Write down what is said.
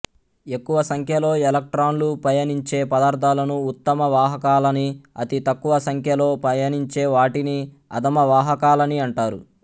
ఎక్కువ సంఖ్యలో ఎలక్ట్రాన్లు పయనించే పదార్థాలను ఉత్తమ వాహకాలని అతి తక్కువ సంఖ్యలో పయనించే వాటిని అధమ వాహకాలని అంటారు